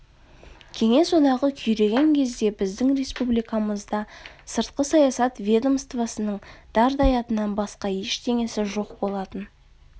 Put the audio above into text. кеңес одағы күйреген кезде біздің республикамызда сыртқы саясат ведомствосының дардай атынан басқа ештеңесі жоқ болатын